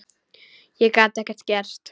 Og gat ekkert gert.